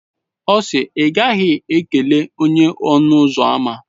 Ọ si, I ghaghi ikele onye-ọnụ-ụzọ-ámá!